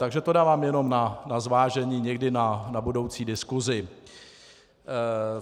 Takže to dávám jenom na zvážení, někdy na budoucí diskusi.